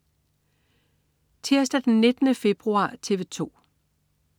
Tirsdag den 19. februar - TV 2: